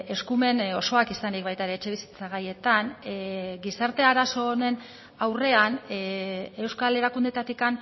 eskumen osoak izanik baita ere etxebizitza gaietan gizarte arazo honen aurrean euskal erakundeetatik